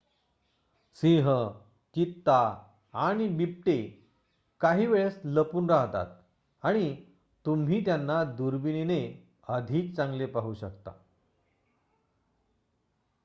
सिंह चित्ता आणि बिबटे काही वेळेस लपून राहतात आणि तुम्ही त्यांना दुर्बिणीने अधिक चांगले पाहू शकता